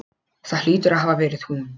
Það hlýtur að hafa verið hún.